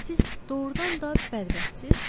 Siz doğrudan da bədbəxtsiz?